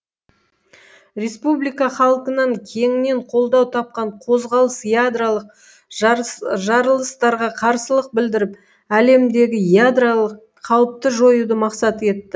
республика халқынан кеңінен қолдау тапқан қозғалыс ядролық жарылыстарға қарсылық білдіріп әлемдегі ядролық қауіпті жоюды мақсат етті